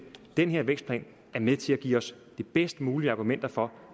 den her vækstplan er med til at give os de bedst mulige argumenter for